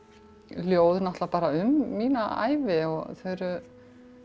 ljóð náttúrulega bara um mína ævi þau eru